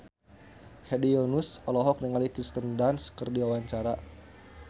Hedi Yunus olohok ningali Kirsten Dunst keur diwawancara